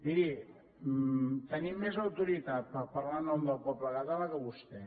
miri tenim més autoritat per parlar en nom del poble català que vostè